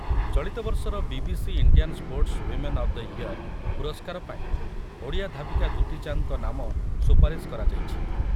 ଚଳିତବର୍ଷର BBC Indian sports women of the year ପୁରସ୍କାର ପାଇଁ ଓଡ଼ିଆ ଧାବିକା ଦୁତି ଚାନ୍ଦଙ୍କ ନାମ ସୁପାରିଶ କରାଯାଇଛି।